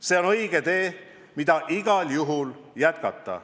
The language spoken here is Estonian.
See on õige tee, mida tuleb igal juhul jätkata.